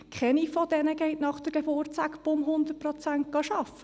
Keine von ihnen geht nach der Geburt Knall auf Fall 100 Prozent arbeiten.